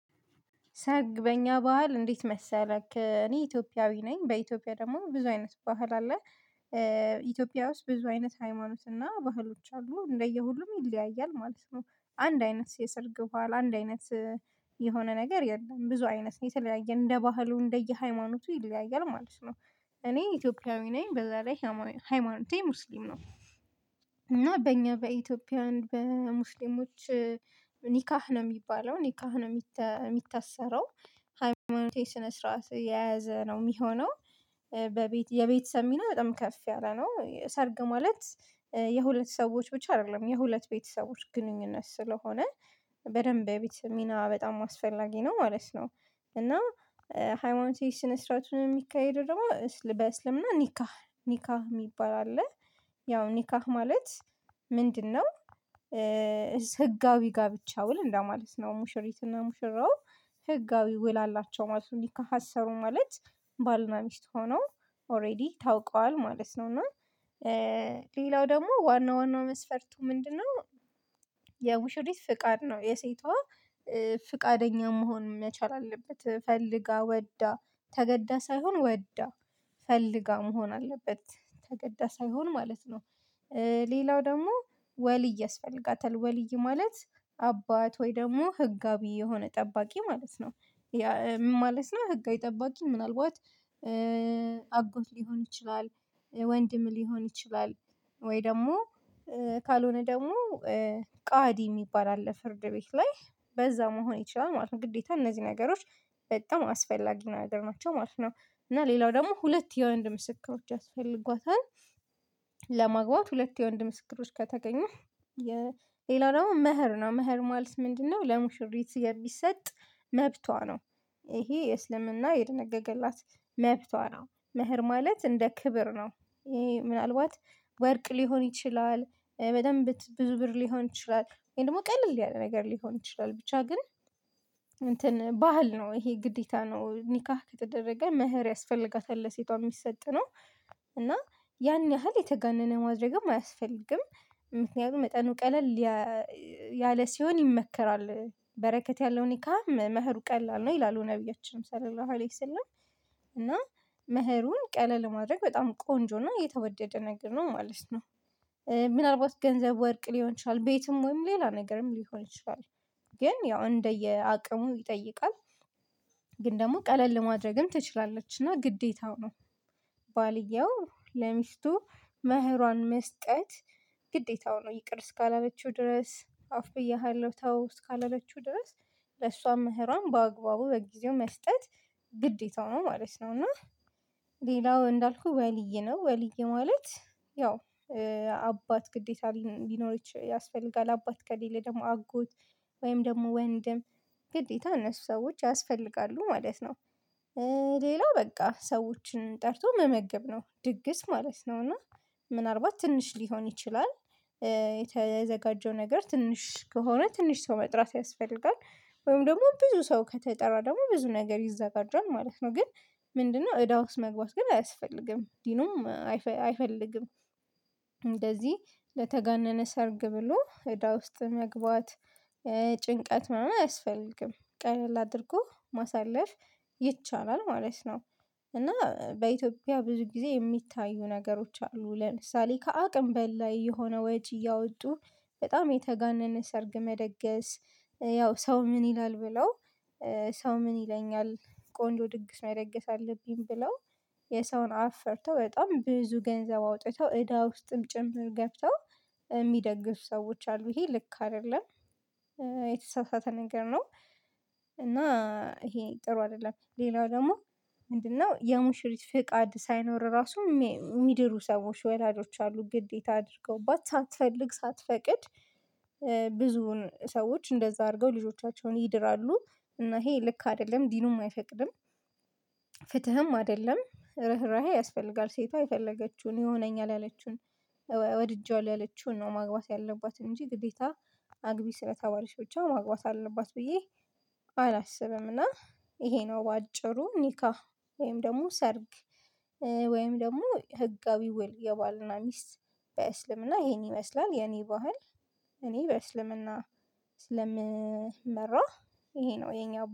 ሰርግ በእኛ ባህል እንዴት መሰለክ እኔ ኢትዮጵያዊ ነኝ በኢትዮጵያ ደግሞ ብዙ አይነት ባህል አለ። ኢትዮጵያ ውስጥ ብዙ አይነት ሃይማኖት እና ባህሎች አሉ እንደየሁሉም ይለያያል ማለት ነው። አንድ አይነት የሰርግ ኋላ አንድ አይነት የሆነ ነገር የለም ብዙ አይነት ነው የተለያየ እንደ ባህሉ እንደየ ሃይማኖቱ ይለያያል ማለት ነው። እኔ ኢትዮጵያዊ ነኝ በዛ ላይ ሃይማኖቴ ሙስሊም ነው። እና በእኛ በኢትዮጵያ በሙስሊሞች ኒካሕ ነው የሚባለው ኒካህ ነው የሚታሰረው። ሃይማኖቴ ስነ ስርዓት የያዘ ነው የሚሆነው። በቤት የቤተሰብ ሚና በጣም ከፍ ያለ ነው ሰርግ ማለት። የሁለት ሰዎች ብቻ አይደለም የሁለት ቤተሰቦች ግንኙነት ስለሆነ በደንብ በቤተሰብ ሚና በጣም አስፈላጊ ነው ማለት ነው። እና ሃይማኖት ስነ ስርዓቱን የሚካሄደው ደግሞ በእስልምና ኒካሕ ኒካ የሚባል አለ። ያው ኒካሕ ማለት ምንድነው? ህጋዊ ጋብቻ ውል እንደማለት ነው ሙሽሪትና ሙሽራው ህጋዊ ውል አላቸው ማለት ነው ኒካሕ አሰሩ ማለት። ባልና ሚስት ሆኖ ኦሬዲ ታውቀዋል ማለት ነው። እና ሌላው ደግሞ ዋና ዋናው መስፈርቱ ምንድነው? የሙሽሪት ፍቃድ ነው የሴቷ ፍቃደኛ መሆን መቻል አለበት ፈልጋ ወዳ ተገዳ ሳይሆን ወዳ ፈልጋ መሆን አለበት ተገዳ ሳይሆን ማለት ነው። ሌላው ደግሞ ወልይ ያስፈልጋታል ወልይ ማለት አባት ወይ ደግሞ ህጋዊ የሆነ ጠባቂ ማለት ነው። ማለት ነው ህጋዊ ጠባቂ ምናልባት አጎት ሊሆን ይችላል። ወንድም ሊሆን ይችላል። ወይ ደግሞ ካልሆነ ደግሞ ቃዲ የሚባል አለ ፍርድ ቤት ላይ በዛ መሆን ይችላል ማለት ነው። ግዴታ እነዚህ ነገሮች በጣም አስፈላጊ ነገር ናቸው ማለት ነው። እና ሌላው ደግሞ ሁለት የወንድ ምስክሮች ያስፈልጓታል። ለማግባት ሁለት የወንድ ምስክሮች ከተገኙ የሌላው ደግሞ መህር ነው መህር ማለት ምንድነው? ለሙሽሪት የሚሰጥ መብቷ ነው። ይሄ የእስልምና የደነገገላት መብቷ ነው መህር ማለት እንደ ክብር ነው ይሄ ምናልባት ወርቅ ሊሆን ይችላል በደንብ ብዙ ብር ሊሆን ይችላል ወይም ደግሞ ቀለል ያለ ነገር ሊሆን ይችላል። ብቻ ግን ባህል ነው ይሄ ግዴታ ነው ኒካህ ከተደረገ መህር ያስፈልጋታል ለሴቷ ሚሰጥ ነው። እና ያን ያህል የተጋነነ ማድረግም አያስፈልግም። ምክንያቱም መጠኑ ቀለል ያለ ሲሆን ይመከራል በረከት ያለው ኒካሕም መህሩ ቀላል ነው ይላሉ ነብያችን ሰለላሁ ዓለይሂ ሰላም እና መህሩን ቀለል ማድረግ በጣም ቆንጆ እና የተወደደ ነገር ነው ማለት ነው። ምናልባት ገንዘብ ወርቅ ሊሆን ይችላል ቤትም ወይም ሌላ ነገርም ሊሆን ይችላል። ግን ያው እንደየ አቅሙ ይጠይቃል። ግን ደግሞ ቀለል ማድረግም ትችላለች እና ግዴታው ነው። ባልየው ለሚስቱ መህሯን መስጠት ግዴታው ነው ይቅር እስካላለችው ድረስ አፉ ብዬሃለሁ ተው እስካላለችው ድረስ ለሷ መህራን በአግባቡ በጊዜው መስጠት ግዴታው ነው ማለት ነው። እና ሌላው እንዳልኩህ ወልይ ነው ወልይ ማለት ያው አባት ግዴታ ሊኖር ያስፈልጋል አባት ከሌለ ደግሞ አጎት ወይም ደግሞ ወንድም ግዴታ እነሱ ሰዎች ያስፈልጋሉ ማለት ነው። ሌላው በቃ ሰዎችን ጠርቶ መመገብ ነው ድግስ ማለት ነው። እና ምናልባት ትንሽ ሊሆን ይችላል ነገር ትንሽ ከሆነ ትንሽ ሰው መጥራት ያስፈልጋል ወይም ደግሞ ብዙ ሰው ከተጠራ ደግሞ ብዙ ነገር ይዘጋጇል ማለት ነው። ግን ምንድነው? እዳ ውስጥ መግባት ግን አያስፈልግም ዲኑም አይፈልግም። እንደዚህ ለተጋነነ ሰርግ ብሎ እዳ ውስጥ መግባት ጭንቀት ምናምን አያስፈልግም ቀለል አድርጎ ማሳለፍ ይቻላል ማለት ነው። እና በኢትዮጵያ ብዙ ጊዜ የሚታዩ ነገሮች አሉ ለምሳሌ ከአቅም በላይ የሆነ ወጪ እያወጡ በጣም የተጋነነ ሰርግ መደገስ ያው ሰው ምን ይላል ብለው ሰው ምን ይለኛል ቆንጆ ድግስ ነው መደገስ አለብኝ ብለው የሰውን አፍ ፈርተው በጣም ብዙ ገንዘብ አውጥተው እዳ ውስጥም ጭምር ገብተው ሚደግሱ ሰዎች አሉ። ይሄ ልክ አይደለም የተሳሳተ ነገር ነው። እና ይሄ ጥሩ አይደለም። ሌላው ደግሞ ምንድነው? የሙሽሪት ፍቃድ ሳይኖር ራሱ የሚድሩ ሰዎች ወላጆች አሉ ግዴታ አድርገውባት ሳትፈልግ ሳትፈቅድ ብዙውን ሰዎች እንደዛ አድርገው ልጆቻቸውን ይድራሉ። እና ይሄ ልክ አይደለም ዲኑም አይፈቅድም። ፍትህም አደለም ርህራሄ ያስፈልጋል ሴቷ የፈለገችውን ይሆነኛል ያለችውን ወድጀዋለሁ ያለችውን ነው ማግባት ያለባት እንጂ ግዴታ አግቢ ስለተባለች ብቻ ማግባት አለባት ብዬ አላስብም። እና ይሄ ነው በአጭሩ ኒካሕ ወይም ደግሞ ሰርግ። ወይም ደግሞ ህጋዊ ውል የባልና ሚስት በእስልምና ይሄን ይመስላል የኔ ባህል። እኔ በእስልምና ስለምመራህ ይሄ ነው የኛው